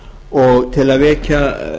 og til að vekja